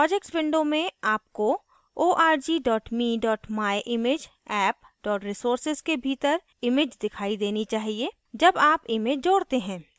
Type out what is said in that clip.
projects window में आपको org me myimageapp resources के भीतर image दिखाई देनी चाहिए जब आप image जोड़ते हैं